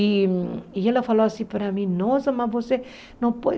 E ela falou assim para mim, nossa, mas você não